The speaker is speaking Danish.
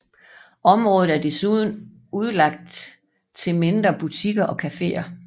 Området er desuden udlagt til mindre butikker og caféer